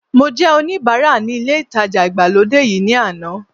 Mo jẹ́ oníbara ní ilé ìtajà ìgbàlódé yìí ní àná